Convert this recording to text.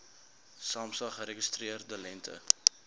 samsa geregistreerde lengte